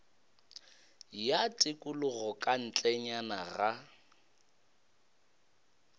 ya tikologo ka ntlenyana ga